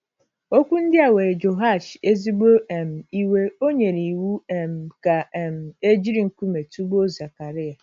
Okwu ndia were Jehoash ezigbo um iwe, ọ nyere iwu um ka um e jiri nkume tụgbuo Zekaraya.